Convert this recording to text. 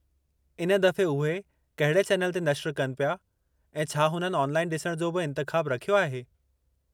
इन दफ़े उहे कहिड़े चैनल ते नश्र कनि पिया ऐं छा हुननि ऑनलाइन डि॒सणु जो बि इंतिख़ाबु रखियो आहे?